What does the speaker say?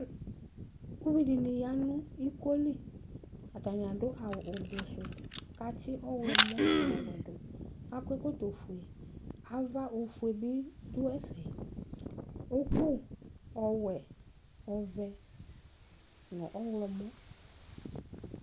Ʋvidini yanʋ ikoli atani adʋ awʋ ʋblɔ sʋ kʋ atsi ɔwlɔmɔ nʋ ɔve dʋ akɔ ɛkɔtɔfue ava ofʋue bi dʋ ɛfɛ ʋkʋ owɛ ɔvɛ nʋ ɔwlɔmɔ